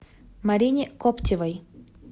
марине коптевой